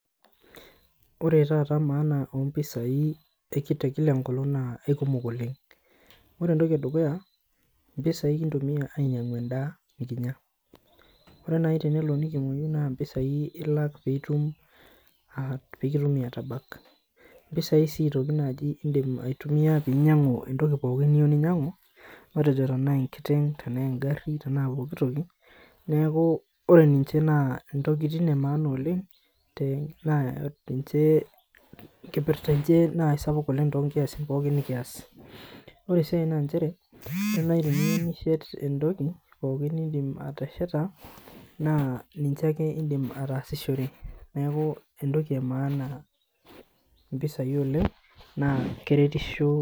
Ore taata maana ompisai ekite tekila enkolong naa aikumok oleng ore entoki edukuya naa impisai kintumia ainyiang'u endaa nikinya ore nai tenelo nikimuoyu naa impisai ilak piitum uh pikitumi atabak impisai sii aitoki naaji indim aitumia pinyang'u entoki pookin niyieu ninyiang'u matejo tenaa enkiteng tenaa engarri matejo pokitoki neeku ore ninche naa entoki intokitin e maana te naa ninche enkipirta enche naa isapuk oleng tonkiasin nikiyas ore sii ae nanchere ore naai teniyieu nishet entoki pookin nindim atesheta naa ninche ake indim ataasishore neaku entoki e maana impisai oleng naa keretisho.